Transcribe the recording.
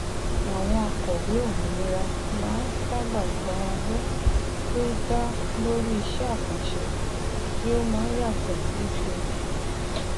àwọn òkọwé òmìnira máa ń sábà gba owó tí ó dá lórí iṣẹ àkànṣe tí ó má n yàtọ lóṣooṣù